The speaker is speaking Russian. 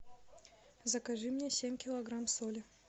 закажи мне семь килограмм соли